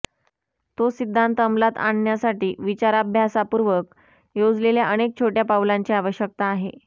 तो सिद्धांत अमलात आणण्यासाठी विचाराभ्यासपूर्वक योजलेल्या अनेक छोट्या पावलांची आवश्यकता आहे